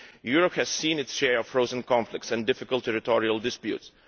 Europe has seen its share of frozen conflicts and difficult territorial disputes.